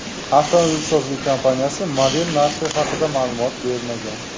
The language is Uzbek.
Avtomobilsozlik kompaniyasi model narxi haqida ma’lumot bermagan.